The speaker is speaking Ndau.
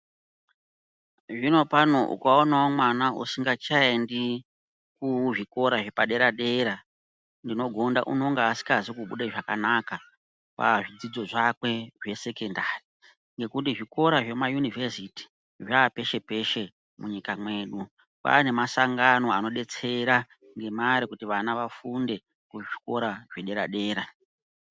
Zvinopano ukaonawo mwana ushingachaendi kuzvikora zvepadera dera ndinogonda unonga usikazi kubude zvakanaka pazvidzidzo zvake zvesekondari. Ngekuti zvikora zvemayunivhesiti zvava peshe peshe munyika mwedu. Kwava nemasangano anodetsera ngemari kuti vana vafunde muzvikoro zvedera dera.